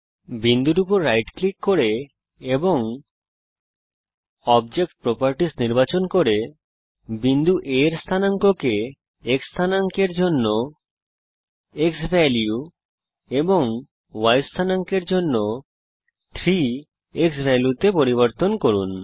বিন্দুর উপর right click করে এবং অবজেক্ট প্রপার্টিস নির্বাচন করে বিন্দু A এর স্থানাঙ্ককে X স্থানাঙ্ক এর জন্য ক্সভ্যালিউ এবং Y স্থানাঙ্ক এর জন্য ক্সভ্যালিউ তিনগুনে পরিবর্তন করুন